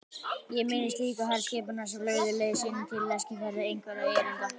Ég minnist líka herskipanna sem lögðu leið sína til Eskifjarðar einhverra erinda.